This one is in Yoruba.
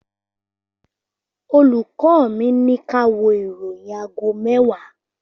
Olùkọ́ mi, ní ká wo ìròyìn àgó mewa